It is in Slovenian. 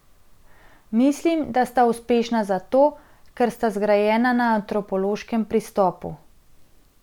Mislim, da sta uspešna zato, ker sta zgrajena na antropološkem pristopu.